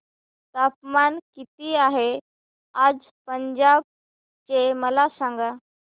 तापमान किती आहे आज पंजाब चे मला सांगा